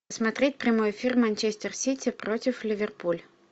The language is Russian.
смотреть прямой эфир манчестер сити против ливерпуль